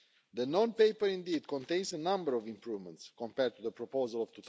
The non paper indeed contains a number of improvements compared to the proposal of